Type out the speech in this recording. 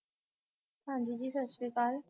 ਹਾਂ ਜੀ ਜੀ ਸਤਿ ਸ਼੍ਰੀ ਅਕਾਲ